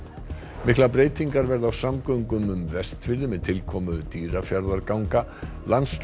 miklar breytingar verða á samgöngum um Vestfirði með tilkomu Dýrafjarðarganga